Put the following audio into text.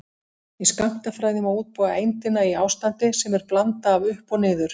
Í skammtafræði má útbúa eindina í ástandi sem er blanda af upp og niður.